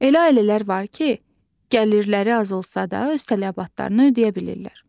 Elə ailələr var ki, gəlirləri az olsa da öz tələbatlarını ödəyə bilirlər.